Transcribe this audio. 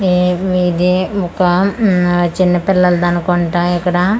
ఏ ఇదే ఒక మ్మ్ చిన్నపిల్లల్దనుకుంటా ఇక్కడా--